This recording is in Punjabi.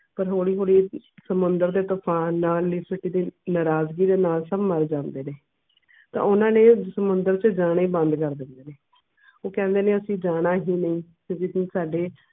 ਪਰ ਹੌਲੀ ਹੌਲੀ ਸਮੁੰਦਰ ਦੇ ਤੂਫ਼ਾਨ ਨਾਲ ਲਿਪਟਤੇ ਨਾਰਾਜ਼ਗੀ ਦੇ ਨਾਲ ਮਰ ਜਾਂਦੇ ਨੇ ਤੇ ਉਹਨਾਂ ਨੇ ਸਮੁੰਦਰ ਚ ਜਾਣਾ ਹੀ ਬੰਦ ਕਰ ਦਿੰਦੇ ਨੇ ਉਹ ਕਹਿੰਦੇ ਨੇ ਅਸੀਂ ਜਾਣਾ ਹੀ ਨੀ ਤੇ ਜੇ ਤੁਸੀਂ ਸਾਡੇ